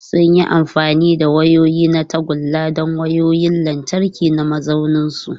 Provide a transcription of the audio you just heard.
Sun yi amfani da wayoyi na tagulla don wayoyin lantarki na mazauninsu.